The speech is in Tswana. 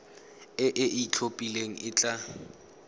e e itlhophileng e tla